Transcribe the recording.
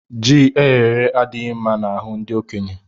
Ji eyere èyé adighi mma n'ahu ndi okenye